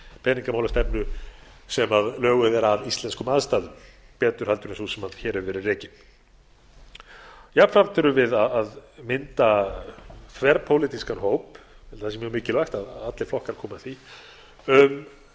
peningamálastefnu sem löguð er að íslenskum aðstæðum betur en sú sem hér hefur verið rekin jafnframt erum við að mynda þverpólitískan hóp ég held að það sé mjög mikilvægt að allir flokkar komi að því um